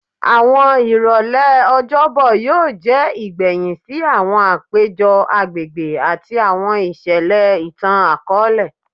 Awọn irọlẹ Ọjọbọ yoo jẹ igbẹhin si awọn apejọ agbegbe ati awọn iṣẹlẹ itan-akọọlẹ